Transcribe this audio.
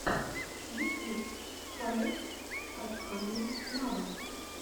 ютюб халех адхами нава